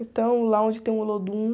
Então, lá onde tem o Olodum.